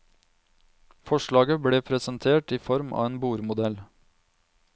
Forslaget ble presentert i form av en bordmodell.